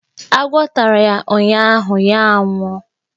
Agwọ́ tara ya ụnyụahụ, ya a nwụọ.